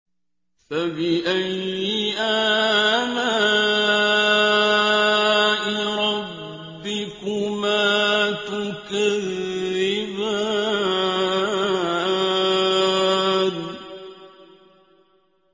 فَبِأَيِّ آلَاءِ رَبِّكُمَا تُكَذِّبَانِ